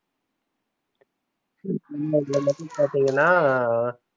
பாத்திங்கனா